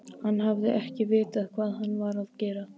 Hann hafi ekki vitað hvað hann var að gera.